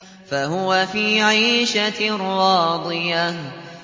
فَهُوَ فِي عِيشَةٍ رَّاضِيَةٍ